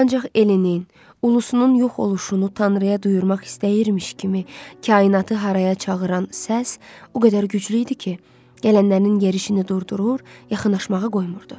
Ancaq Elinin, ulusunun yox oluşunu tanrıya duyurmaq istəyirmiş kimi kainatı haraya çağıran səs o qədər güclü idi ki, gələnlərinin yerişini durdurur, yaxınlaşmağa qoymurdu.